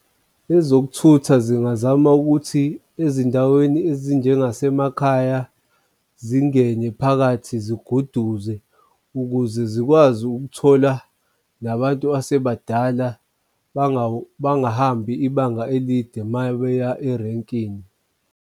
Ezokuthutha zingazama ukuthi ezindaweni ezinjengasemakhaya zingene phakathi ziguduze, ukuze zikwazi ukuthola nabantu asebadala bangahambi ibanga elide uma beya erenkini.